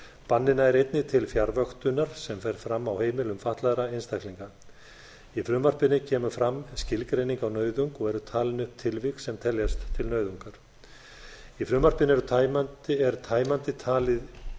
bannið nær einnig til fjarvöktunar sem fer fram á heimilum fatlaðra einstaklinga í frumvarpinu kemur fram skilgreining á nauðung og eru talin upp tilvik sem teljast til nauðungar í frumvarpinu er tæmandi talið